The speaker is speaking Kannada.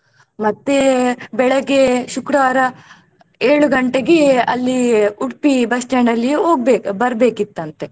ಮತ್ತೆ ಬೆಳಗ್ಗೆ ಶುಕ್ರವಾರ ಏಳು ಗಂಟೆಗೆ ಅಲ್ಲಿ ಉಡುಪಿ bus stand ಅಲ್ಲಿ ಹೋಗ್ಬೇ~ ಬರ್ಬೇಕ್ಕಿತಂತೆ.